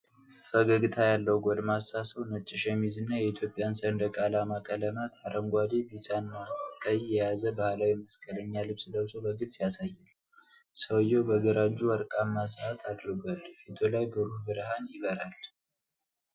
ፈገግታ ያለው ጎልማሳ ሰው ነጭ ሸሚዝ እና የኢትዮጵያን ሰንደቅ ዓላማ ቀለማት (አረንጓዴ፣ ቢጫ እና ቀይ) የያዘ ባህላዊ መስቀለኛ ልብስ ለብሶ በግልጽ ያሳያል። ሰውዬው በግራ እጁ ወርቃማ ሰዓት አድርጓል፤ ፊቱ ላይ ብሩህ ብርሃን ይበራል።